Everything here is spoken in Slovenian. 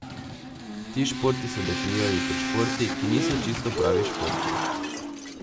Ti športi so definirani kot športi, ki niso čisto pravi športi.